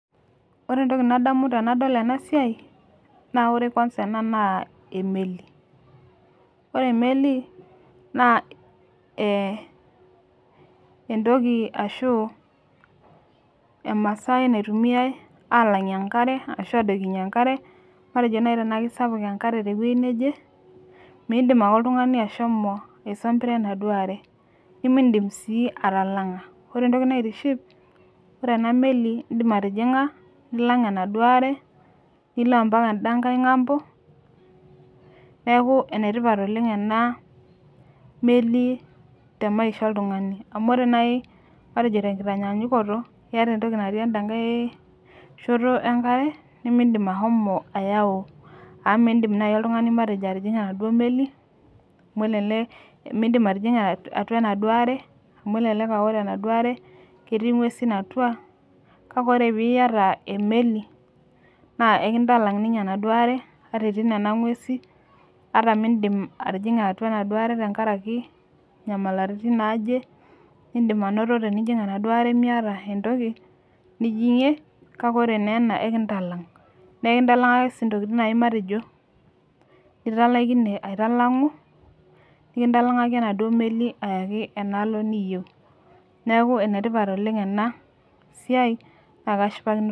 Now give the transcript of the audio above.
Ore etoki nadamu tenadol ena esiai naa ore kwanza ena naa emeli ore emeli naa eh entoki ashu emaasai naitumiae alangie enkare ashu adoikinyie enkare matejo naaji tenaa kisapuk enkare te wueji neje midim ake oltungani ashomo aisambaare enaduo are nimidim sii atalanga ore enkae toki naitiship ore ena meli idim atijinga nilang enaduo are nilo mpaka eda kae ngambo neaku enetipat oleng ena meli te maisha oltungani amu ore naaji tekitanyanyukoto iata entoki natii eda kae shoto enkare nimidim ashomo ayau amu midim naaji oltungani matejo atijinga enaduo meli amu elelek midim atijinga atua enaduo are amu elelek ore ena duo are ketii nguesin atua kake ore pee iyata emeli naa ekitalang ninye ena duo are ata etii nena nguesi ata midim atijinga atua enaduo are tenkaraki nyamalaritin naaje nidim anoto tinijing enaduo are miata etoki nijingie kake ore naa ena ekitalang nikitalangaki sii naaji intokitin matejo italaikine aitalangu nikitalangaki enaduo meli ayaki idialo niyieu neaku enetipat oleng ena siai naa kashipakino oleng.